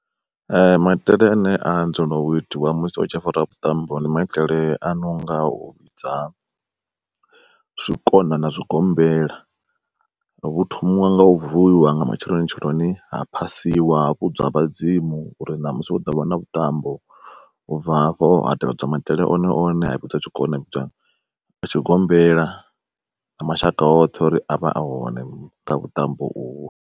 Maitele ane adzela u itiwa musi hu tshi fariwa vhuṱambo, ndi maitele a nonga u vhidza zwikona na zwigombela. Hu thomiwa nga u vuwiwa nga matsheloni tsheloni ha phasiwa ha vhudzwa vhadzimu uri ṋamusi hu ḓovha na vhuṱambo, u bva hafho ha tevhedzwa maitele one one ha fhedzwa tshikona ha vhidzwa na tshigombela na mashaka oṱhe uri avhe a hone kha vhuṱambo uho.